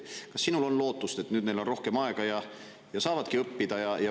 Kas sinul on lootust, et neil on nüüd rohkem aega ja nad saavadki õppida?